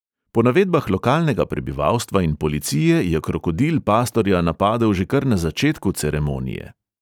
Po navedbah lokalnega prebivalstva in policije je krokodil pastorja napadel že kar na začetku ceremonije.